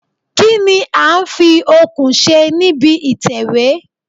Kí ní a ń fi okùn ṣe níbi ìtẹ̀wẹ́?